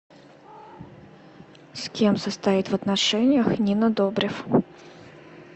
с кем состоит в отношениях нина добрев